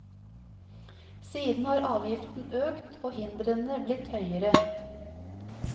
Siden har avgiften økt og hindrene blitt høyere.